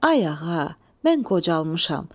Ay ağa, mən qocalmışam.